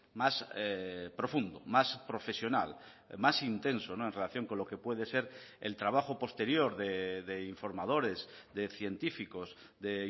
más profundo más profesional más intenso en relación con lo que puede ser el trabajo posterior de informadores de científicos de